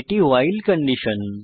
এটি আমাদের ভাইল কন্ডিশন